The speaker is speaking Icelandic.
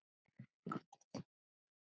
Við keyrum í austur